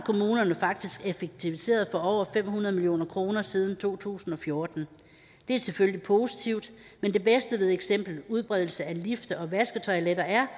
effektiviseret for over fem hundrede million kroner siden to tusind og fjorten det er selvfølgelig positivt men det bedste ved eksempelvis udbredelse af lifte og vasketoiletter er